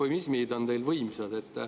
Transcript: Eufemismid on teil võimsad.